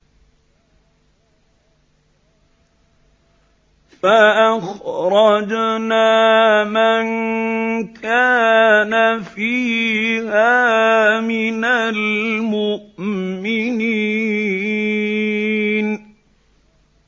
فَأَخْرَجْنَا مَن كَانَ فِيهَا مِنَ الْمُؤْمِنِينَ